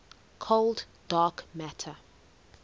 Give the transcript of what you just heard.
cold dark matter